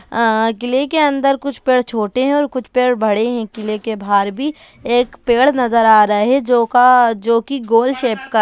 आ किले के अंदर कुछ पेड़ छोटे हैं और कुछ पेड़ बड़े हैं किले के बाहर भी एक पेड़ नजर आ रहे हैं जो का जो की गोल शेप का --